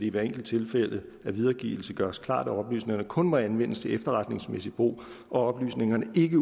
i hvert enkelt tilfælde af videregivelse gøres klart at oplysningerne kun må anvendes til efterretningsmæssig brug og at oplysningerne ikke